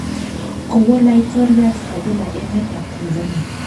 Kowo laitoryat Kabila emet ab Tanzania